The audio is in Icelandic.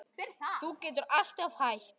Þú getur alltaf hætt